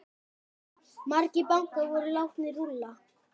Margir bankar voru látnir rúlla.